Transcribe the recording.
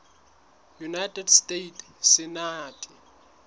united states senate